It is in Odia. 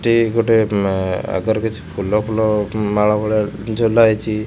ଏଟି ଗୋଟେ ଆଗରେ କିଛି ଫୁଲ ଫୁଲ ମାଳ ଭଳିଆ ଝୁଲା ହୋଇଛି।